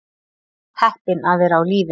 Heppin að vera á lífi